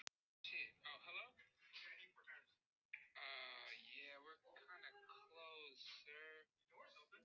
Og núna máttu leggja á borð ef þú vilt.